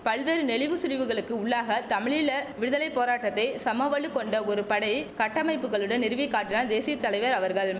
பல்வேறு நெளிவு சுழிவுகளுக்கு உள்ளாக தமிழீழ விடுதலை போராட்டத்தை சமவலு கொண்ட ஒரு படை கட்டமைப்புக்களுடன் நிறுவிக் காட்டினால் தேசிய தலைவர் அவர்கள்